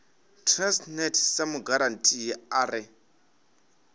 transnet sa mugarantii a re